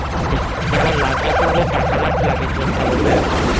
যেমন লাগেজ হবে